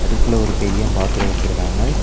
அடுப்புல ஒரு பெரியம் பாத்திர வெச்சிருக்காங்க.